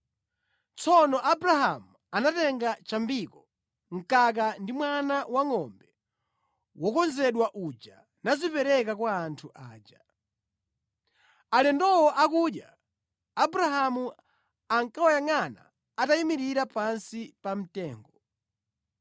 Tsono Abrahamu anatenga chambiko, mkaka ndi mwana wangʼombe wokonzedwa uja nazipereka kwa anthu aja. Alendowo akudya, Abrahamu ankawayangʼana atayimirira pansi pa mtengo.